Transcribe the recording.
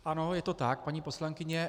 Ano, je to tak, paní poslankyně.